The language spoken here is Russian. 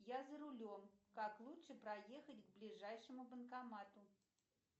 я за рулем как лучше проехать к ближайшему банкомату